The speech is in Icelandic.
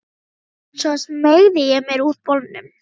Svo smeygði ég mér úr bolnum.